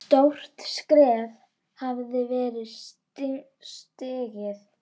Stórt skref hafði verið stigið.